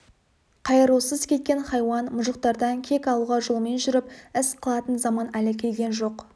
қайырусыз кеткен хайуан мұжықтардан кек алуға жолмен жүріп іс қылатын заман әлі келген жоқ